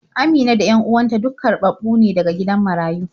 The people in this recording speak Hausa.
Amina da 'yan uwan ta duk karɓaɓɓu ne daga gidan marayu.